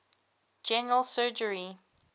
general surgery